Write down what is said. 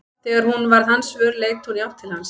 Þegar hún varð hans vör leit hún í átt til hans.